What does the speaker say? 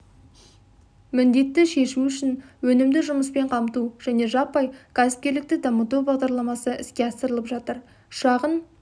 міндетті шешу үшін өнімді жұмыспен қамту және жаппай кәсіпкерлікті дамыту бағдарламасы іске асырылып жатыр шағын